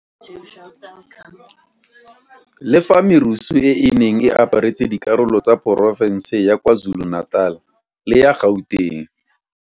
Le fa merusu e e neng e aparetse dikarolo tsa porofense ya KwaZulu-Natal le ya Gauteng.